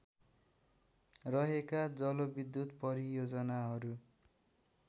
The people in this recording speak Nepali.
रहेका जलविद्युत परियोजनाहरू